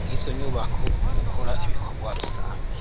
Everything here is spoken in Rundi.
mwizo nyubako mugukora ibikorwa rusangi.